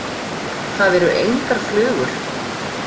Það eru engar flugur.